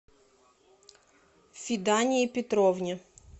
фидании петровне